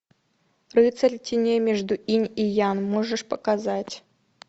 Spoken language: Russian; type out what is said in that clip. рыцарь теней между инь и янь можешь показать